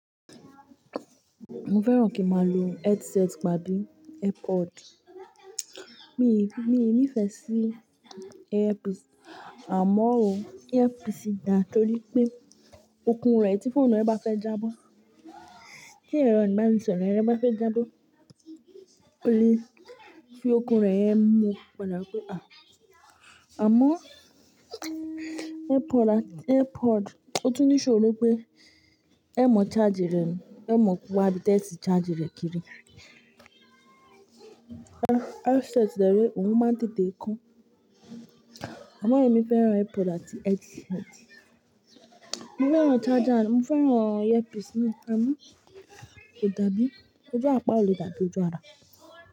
Mo fẹ́ràn kí máa lo headset tàbí earpod. Mi ò ní ìfẹ́ sí earpiece, àmọ́ o earpiece dà nítorí pé okun rẹ̀ tí fóònù rẹ bá fẹ́ jábọ́, kí ẹ̀rọ ìbánisọ̀rọ̀ rẹ bá fẹ́ jábọ́, ó lè fi okun rẹ̀ mu, padà pé à. Àmọ́ airpod, ọtún níṣòro pé ẹ mọ charger rẹ̀ ni, ẹ mọ wá bí tẹ́ẹ̀ sì charger rẹ̀ kiri. Headset dẹ rẹ òhun máa ń tètè kan. Àmọ́ èmi fẹ́ràn airpod àti headset. Mo fẹ́ràn charger rẹ̀, mo fẹ́ràn earpiece náà, àmọ́ kò dàbí. Ojú apá ò le dàbí ojú ara.